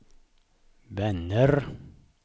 vänner